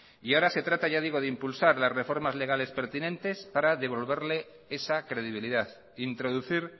y ahora se trata ya digo de impulsar las reformas legales pertinente para devolverle esa credibilidad introducir